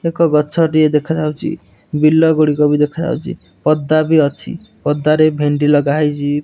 ଏକ ଗଛ ଟିଏ ଦେଖାଯାଉଛି ବିଲ ଗୁଡ଼ିକ ବି ଦେଖାଯାଉଛି ପଦା ବି ଅଛି ପଦା ରେ ଭେଣ୍ଡି ଲଗାହେଇଛି।